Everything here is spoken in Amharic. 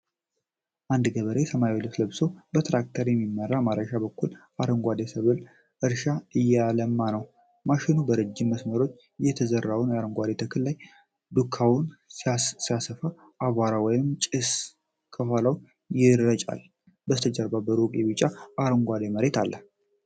አንድ ገበሬ ሰማያዊ ልብስ ለብሶ በትራክተር በሚመራ ማረሻ በኩል አረንጓዴ የሰብል እርሻን እያለማ ነው። ማሽኑ በረዥም መስመሮች በተዘራው አረንጓዴ ተክል ላይ ዱካውን ሲያሰፋ አቧራ ወይም ጭስ ከኋላው ይረጫል። ከበስተጀርባ በሩቅ የቢጫና አረንጓዴ መሬት አለ።